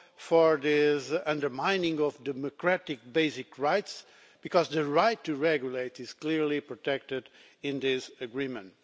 for the undermining of democratic basic rights, because the right to regulate is clearly protected in this agreement.